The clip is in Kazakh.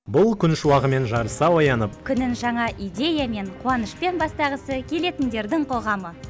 бұл күн шуағымен жарыса оянып күнін жаңа идеямен қуанышпен бастағысы келетіндердің қоғамы